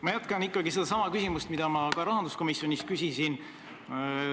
Ma jätkan ikkagi sedasama küsimust, mida ma ka rahanduskomisjonis küsisin.